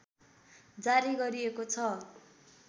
जारी गरिएको छ